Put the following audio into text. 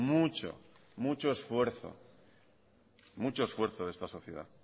mucho esfuerzo de esta sociedad